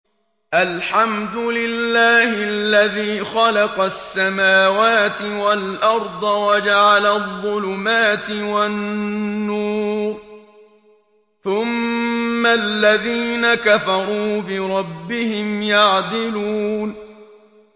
الْحَمْدُ لِلَّهِ الَّذِي خَلَقَ السَّمَاوَاتِ وَالْأَرْضَ وَجَعَلَ الظُّلُمَاتِ وَالنُّورَ ۖ ثُمَّ الَّذِينَ كَفَرُوا بِرَبِّهِمْ يَعْدِلُونَ